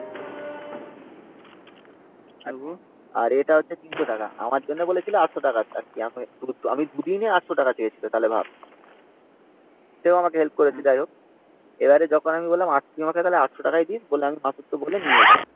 আর এটা হচ্ছে three hundred টাকা। আমার জন্য বলেছিল eight hundred টাকা। আমি। দুদিনে eight hundred টাকা চেয়েছিল। তাহলে ভাব। সেও আমাক হেল্প করেছে। যাইহোক। এবার যখন আমি বললাম তুই আমাকে eight hundred টাক দিস যে আমি মাসুদকে বলে নিয়ে এলাম